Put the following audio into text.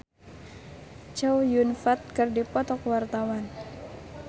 Dicky Chandra jeung Chow Yun Fat keur dipoto ku wartawan